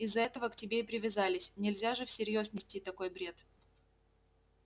из-за этого к тебе и привязались нельзя же всерьёз нести такой бред